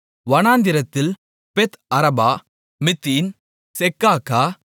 வனாந்திரத்தில் Beth Arabah Middin Secacah